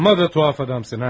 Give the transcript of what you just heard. Axmaq və qəribə adamsan ha.